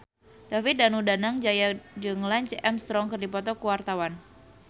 David Danu Danangjaya jeung Lance Armstrong keur dipoto ku wartawan